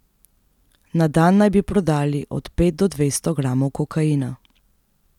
Na dan naj bi prodali od pet do dvesto gramov kokaina.